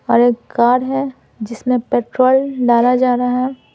और एक कार है जिसमें पेट्रोल डाला जा रहा है।